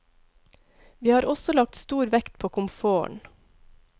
Vi har også lagt stor vekt på komforten.